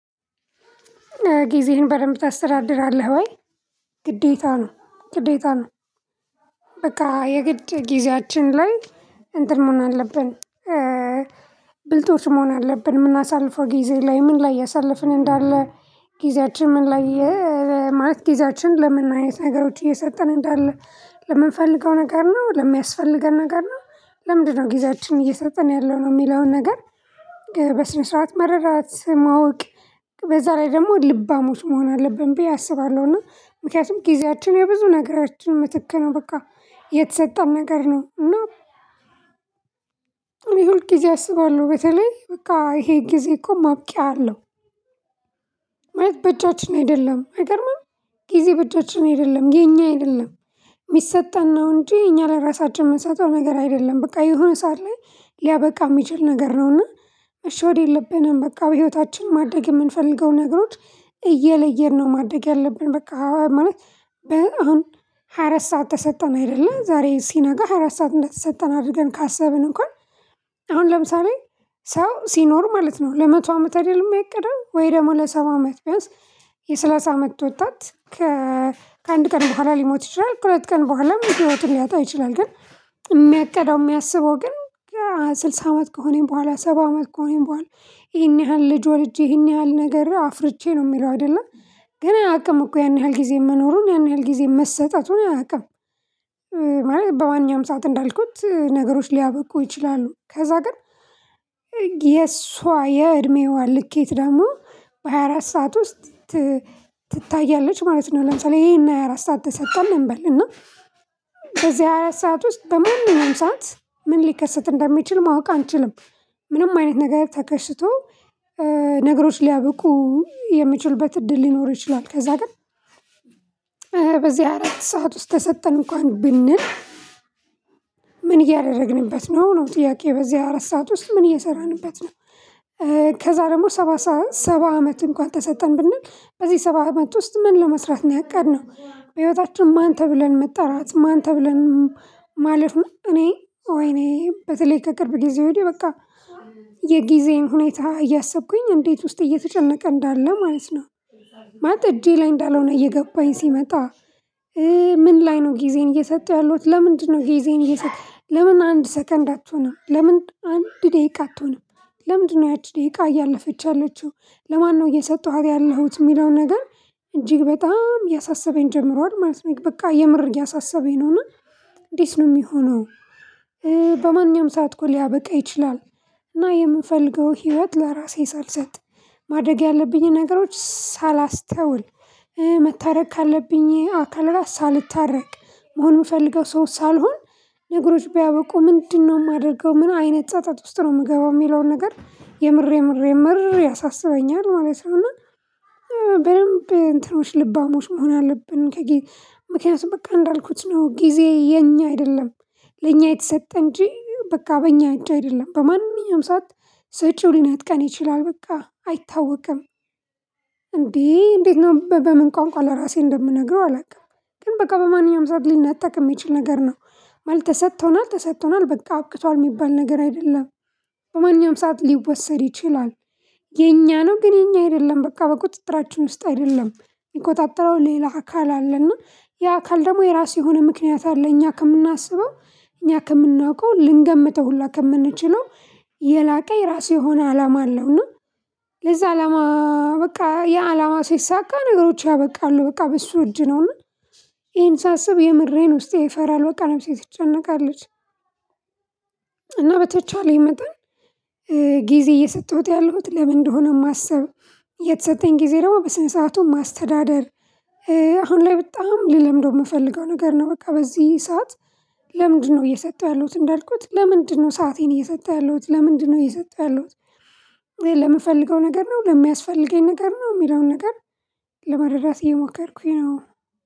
ጊዜህን በደንብ ታስተዳድራለህ ወይ? ግዴታ ነው ግዴታ ነው። በቃ የግድ ጊዜያችን ላይ እንትን መሆን አለብን። ብልጦች መሆን አለብን የምናሳልፈው ጊዜ ላይ ምን ላይ ያሳለፍን እንዳለ? ጊዜያችን ምን ላይ? ማለት ጊዜያችን ለመናገር ነገሮች እየሰጠን እንዳለ ለምንፈልገው ነገር ነው ለሚያስፈልገን ነገር ነው። ለምንድነው ጊዜያችን እየሰጠን ያለው ነው የሚለውን ነገር? በስነ ስርዓት መረዳት ማወቅ። በዛ ላይ ደግሞ ልባሞች መሆን አለብን ብዬ አስባለሁ። አስባለሁና ምክንያቱም ጊዜያችን የብዙ ነገራችን ምትክ ነው በቃ የተሰጠን ነገር ነው። እና ሁል ጊዜ አስባለሁ በተለይ በቃ ይሄ ጊዜ እኮ ማብቂያ አለው። ማለት በእጃችን አይደለም አይገርምም። ጊዜ በእጃችን አይደለም የኛ አይደለም። የሚሰጠን ነው እንጂ የኛ ለራሳችን የምንሰጠው ነገር አይደለም። በቃ የሆነ ሰዓት ላይ ሊያበቃ የሚችል ነገር ነውና መሸወድ የለብንም። በቃ በህይወታችን ማደግ የምንፈልገው ነግሮት እየለየን ነው። ማደግ ያለብን በቃ ማለት። አሁን ሃያ አራት ሰዓት ተሰጠን አይደለ ዛሬ ሲነገር ሃያ አራት ሰዓት እንደተሰጠን አድርገን ካሰብን እንኳን አሁን ለምሳሌ ሰው ሲኖር ማለት ነው ለመቶ አመት አይደለም የሚያቀደው ወይ ደግሞ ለሰባ አመት ቢያንስ የሰላሳ አመት ወጣት። ከአንድ ቀን በኋላ ሊሞት ይችላል ሁለት ቀን በኋላ ህይወትን ሊያጣ ይችላል። ግን የሚያቅደው የሚያስበው ግን ስልሳ አመት ከሆነኝ በኋላ ሰባ አመት ከሆነኝ በኋላ። ይሄን ያህል ልጅ ወልጄ ይሄን ያህል ነገር አፍርቼ ነው የሚለው አይደለ። ግን አያቅም እኮ ያን ያህል ጊዜ መኖሩን ያን ያህል ጊዜ መሰጠቱን አያውቅም። ማለት በማነኛም ሰዓት እንዳልኩት ነገሮች ሊያበቁ ይችላሉ ከዛ ግን። የእሷ የእድሜዋ ልኬት ደግሞ በሃያ አራት ሰዓት ውስጥ ትታያለች ማለት ነው። ለምሳሌ ይሄን ሃያ ሃያ አራት ሰዓት ተሰጠን እንበል እና በዚህ ሃያ አራት ሰዓት ውስጥ በማንም ሰዓት ምን ሊከሰት እንደሚችል ማወቅ አንችልም። ምንም አይነት ነገር ተከስቶ ነገሮች ሊያብቁ የሚችሉበት እድል ሊኖር ይችላል። ከዛ ግን። በዚህ አራት ሰዓት ውስጥ ተሰጠን እንኳን ብንል። ምን እያደረግንበት ነው ነው ጥያቄ። በዚህ አራት ሰዓት ውስጥ ምን እየሰራንበት ነው? ከዛ ደግሞ ሰባ አመት እንኳን ተሰጠን ብንል በዚህ ሰባ አመት ውስጥ ምን ለመስራት ነው ያቀድነው በህይወታችን ማን ተብለን መጠራት ማን ተብለን? ማለፍ እኔ ወይኔ በተለይ ከቅርብ ጊዜ ወዲህ በቃ የጊዜን ሁኔታ እያሰብኩኝ እንዴት ውስጥ እየተጨነቀ እንዳለ ማለት ነው። ማለት እጄ ላይ እንዳልሆነ እየገባኝ ሲመጣ። ምን ላይ ነው ጊዜን እየሰጡ ያሉት ለምንድ ነው ጊዤዬን እየሰጠው ለምን አንድ ሰከንድ አትሆንም ለምን አንድ ደቂቃ አትሆንም ለምንድነው ያቺ ደቂቃ እያለፈችው ያለችው ለማነው እየሰጠኋት ያለሁት የሚለው ነገር። እጅግ በጣም እያሳሰበኝ ጀምሯል ማለት ነው። በቃ የምር እያሳሰበኝ ነውና። እንዴት ነው የሚሆነው? በማንኛውም ሰዓት እኮ ሊያበቃ ይችላል። እና የምንፈልገው ህይወት ለራሴ ሳልሰጥ ማደግ ያለብኝን ነገሮች ሳላስተውል መታረቅ ካለብኝ አካል ራስ ሳልታረቅ መሆኑን ምፈልገው ሰው ሳልሆን። ነገሮች ቢያበቁ ምንድነው የማደርገው? ምን አይነት ጸጸት ውስጥ ነው የምገባው የሚለውን ነገር የምሬ የምሬ ያሳስበኛል ማለት ነው። እና በደንብ እንትኖች ልባሞች መሆን አለብን። ከጊዜ ምክንያቱም በቃ እንዳልኩት ነው ጊዜ የኛ አይደለም። ለኛ የተሰጠ እንጂ በቃ በኛ እጅ አይደለም። በማንኛውም ሰዓት ሰጪው ሊነጥቀን ይችላል። በቃ አይታወቅም። እንዴ እንዴት ነው በምን ቋንቋ ለራሴ እንደምነግረው አላውቅም። ግን በቃ በማንኛውም ሰዓት ሊነጠቅ የሚችል ነገር ነው። ማለት ተሰጥቶናል ተሰጥቶናል በቃ አብቅቷል የሚባል ነገር አይደለም። በማንኛውም ሰዓት ሊወሰድ ይችላል። የኛ ነው ግን የኛ አይደለም በቃ በቁጥጥራችን ውስጥ አይደለም። የሚቆጣጠረው ሌላ አካል አለና። ያ አካል ደግሞ የራሱ የሆነ ምክንያት አለ እኛ ከምናስበው እኛ ከምናውቀው ልንገምተው ሁላ ከምንችለው የላቀ የራሱ የሆነ አላማ አለውና። ለዛ አላማ በቃ የአላማ ሲሳካ ነገሮች ያበቃሉ በቃ በሱ እጅ ነው። ይሄን ሳስብ የምሬን ውስጤ ይፈራል በቃ ለምሳሌ ትጨነቃለች። እና በተቻለኝ መጠን ጊዜ እየሰጠሁት ያለሁት ለምን እንደሆነ የማስበው። የተሰጠኝ ጊዜ ደግሞ በስነ ሰርዓቱ ማስተዳደር። አሁን ላይ በጣም ልለምደው የምፈልገው ነገር ነው በቃ በዚህ ሰዓት። ለምንድነው እየሰጠሁ ያለሁት እንዳልኩት ለምንድነው ሰአቴን እየሰጠሁ ያለሁት ለምንድነው እየሰጠሁ ያለሁት? ለምፈልገው ነገር ነው ለሚያስፈልገኝ ነገር ነው የሚለውን ነገር። ለመረዳት እየሞከርኩኝ ነው።